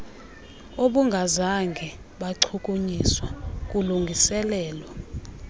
obungazange bachukunyiswa kulungiselelwa